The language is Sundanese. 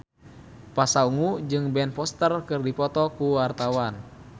Pasha Ungu jeung Ben Foster keur dipoto ku wartawan